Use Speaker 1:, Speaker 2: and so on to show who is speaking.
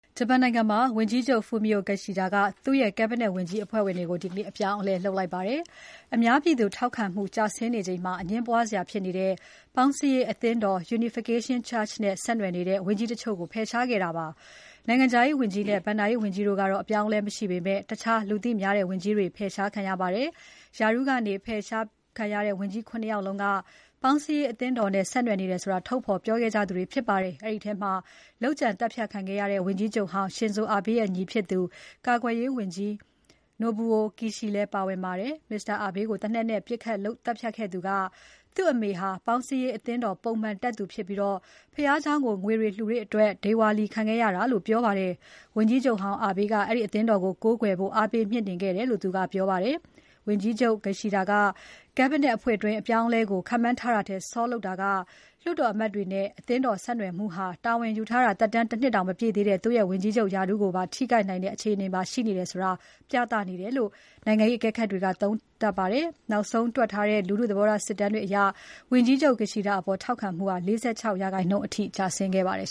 Speaker 1: ဂျပန်နိုင်ငံမှာ ဝန်ကြီးချုပ် Fumio Kishida က သူ့ရဲ့ Cabinet ဝန်ကြီးအဖွဲ့ကို ဒီနေ့ အပြောင်းအလဲ လုပ်လိုက် ပါတယ်။ အများပြည်သူ ထောက်ခံမှုကျဆင်းနေချိန်မှာ အငြင်းပွားစရာဖြစ်နေတဲ့ ပေါင်းစည်းရေးအသင်းတော် Unification Church နဲ့ ဆက်နွယ်နေတဲ့ ဝန်ကြီးတချို့ကို ဖယ်ရှားခဲ့ပါတယ်။ နိုင်ငံခြားရေးဝန်ကြီးနဲ့ ဘဏ္ဍာရေးဝန်ကြီးတို့ကတော့ အပြောင်းအလဲမရှိပေမယ့် တခြားလူသိများတဲ့ ဝန်ကြီးတွေ ဖယ်ရှားခံရပါတယ်။ ရာထူးကနေ ဖယ်ရှားခံရတဲ့ ဝန်ကြီး ၇ ယောက်လုံးက ပေါင်းစည်းရေးအသင်းတော်နဲ့ ဆက်နွယ်နေတယ်ဆိုတာ ထုတ်ဖော်ပြောခဲ့ကြသူတွေဖြစ်ပါတယ်။ အဲဒီထဲမှာ လုပ်ကြံသတ်ဖြတ်ခံရတဲ့ ဝန်ကြီးချုပ်ဟောင်း Shinzo Abe ရဲ့ ညီဖြစ်သူ ကာကွယ်ရေးဝန်ကြီး Nobuo Kishi လည်း ပါပါတယ်။ Mr. Abe ကိုသေနတ်နဲ့ ပစ်ခတ်သတ်ဖြတ်ခဲ့သူက သူ့အမေဟာ ပေါင်းစည်းရေးအသင်းတော် ပုံမှန်တက်သူဖြစ်ပြီး ဘုရားကျောင်းကို ငွေတွေလှူတဲ့အတွက် ဒေဝါလီခံခဲ့ရတာလို့ ပြောပါတယ်။ ဝန်ကြီးချုပ်ဟောင်း Abe က အဲဒီအသင်းတော်ကို ကိုးကွယ်ဖို့ အားပေးမြှင့်တင်ခဲ့တယ်လို့ သူကပြောပါတယ်။ ဝန်ကြီးချုပ် Kishida က Cabinet အဖွဲ့တွင်း အပြောင်းအလဲကို ခန့်မှန်းထားတာထက် စောပြီးလုပ်တာက လွှတ်တော်အမတ်တွေနဲ့ အသင်းတော် ဆက်နွယ်မှုဟာ တာဝန်ယူထားတာ ၁ နှစ်တောင် မပြည့်သေးတဲ့ သူ့ရဲ့ ဝန်ကြီးချုပ်ရာထူးကိုပါ ထိခိုက်နိုင်တဲ့ အခြေအနေမှာရှိနေတယ်ဆိုတာ ပြသနေတယ်လို့ နိုင်ငံရေးအကဲခတ်တွေက သုံးသပ်ပါတယ်။ နောက်ဆုံး ထွက်ထားတဲ့ လူထု သဘောထား စစ်တမ်းတွေအရ ဝန်ကြီးချုပ် Kishida အပေါ် ထောက်ခံမှုဟာ ၄၆% အထိ ကျဆင်းခဲ့ပါတယ်